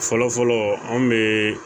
Fɔlɔfɔlɔ anw be